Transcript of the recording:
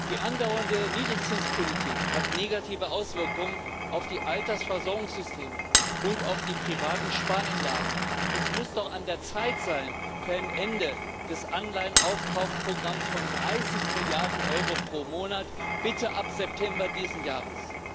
Die andauernde Niedrigzinspolitik hat negative Auswirkungen auf die Altersversorgungssysteme und auf die privaten Spareinlagen. Es muss doch an der Zeit sein für ein Ende des Anleihen Aufkaufprogramms von 30 Milliarden Euro pro Monat bitte ab September dieses Jahres.